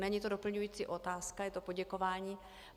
Není to doplňující otázka, je to poděkování.